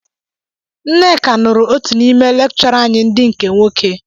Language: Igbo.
Nneka nụrụ otu n'ime lekchọra anyị ndị nke nwoke